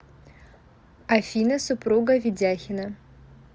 афина супруга ведяхина